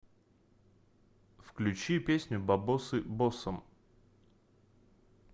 включи песню бабосы боссам